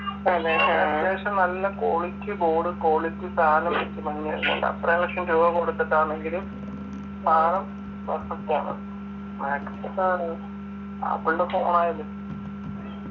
ഏകദേശം നല്ല quality board quality സാനം എത്ര ലക്ഷം രൂപ കൊടുത്തിട്ടാണെങ്കിലും സാനം perfect ആണ് MACbook ആപ്പിൾൻ്റെ phone ആയാലും